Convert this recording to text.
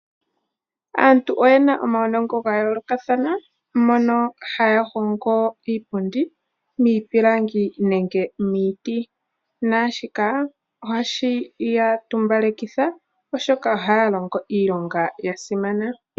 Aantu oye na omaunongo ga yoolokathana moka haya hongo iipundi miipilangi nenge miiti naashika ohashi ya tumbalekitha, oshoka ohaya longo iilonga ya simana.